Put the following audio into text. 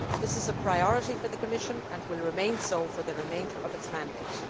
This is a priority for the Commission and will remain so for the remainder of its mandate.